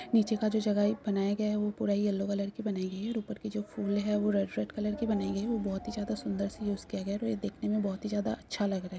नीचे का जो जगह है बनाया गया है वो पूरा येल्लो कलर की बनाई गयी है और उपर के जो फूल है वो रेड - रेड कलर के बनाई गई है। वो बहुत ही ज्यादा सुन्दर सी यूज़ किया गया है तो ये देखने मे बहुत ही ज्यादा अच्छा लग रहा है।